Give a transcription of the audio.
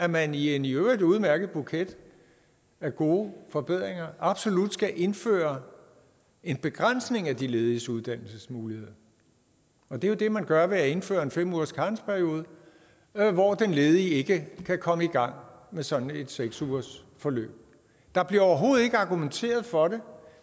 man i en i øvrigt udmærket buket af gode forbedringer absolut skal indføre en begrænsning af de lediges uddannelsesmuligheder og det er jo det man gør ved at indføre en fem ugers karensperiode hvor den ledige ikke kan komme i gang med sådan et seks ugers forløb der bliver overhovedet ikke argumenteret for det